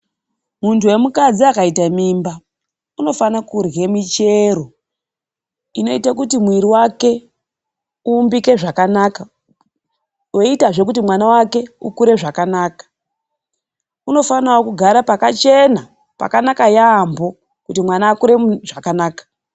Muntu we mukadzi akaite mimba, unofane kurye michero inoita kuti mwiri wake uumbike zvakanaka. Weiitazve kuti mwana wake ukure zvakanaka. Uno fanawo kugara pakachena, pakanaka yaampho kuti mwana akure zvakanaka.